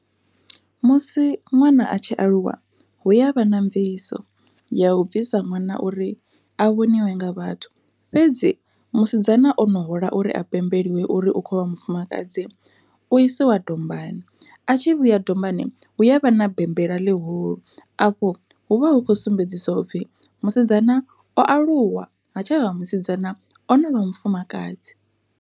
Musi ṅwana a tshi aluwa hu ya vha na mviso ya u bvisa ṅwana uri a vhoniwe nga vhathu, fhedzi musidzana ono hula uri a pembeliwe uri u kho vha mufumakadzi u isiwa dombani a tshi vhuya dombani hu yavha na bembela ḽihulu afho hu vha hu khou sumbedzisa upfhi musidzana o aluwa ha tshavha musidzana ono vha mufumakadzi.